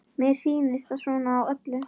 Mér sýnist það svona á öllu.